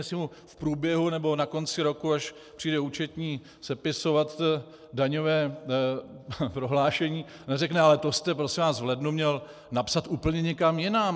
Jestli mu v průběhu nebo na konci roku, až přijde účetní sepisovat daňové prohlášení, neřekne: Ale to jste prosím vás v lednu měl napsat úplně někam jinam.